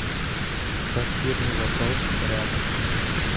квартирный вопрос рядом